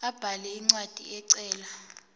abhale incwadi ecela